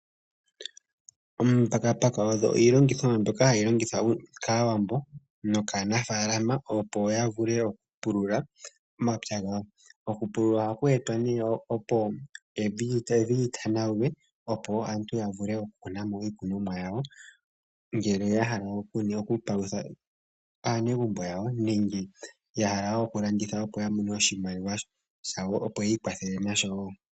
Omambakumbaku ogo iilongithomwa mbyoka hayi longithwa kAawambo nokaanafaalama, opo ya vule okupulula omapya gawo. Okupulula ohaku etwa, opo evi li tanaulwe, opo aantu ya vule okukuna mo iikunomwa yawo, ngele ya hala okupalutha aanegumbo yawo nenge ya hala wo okulanditha, opo ya mone oshimaliwa shawo, opo yi ikwathele nasho wo.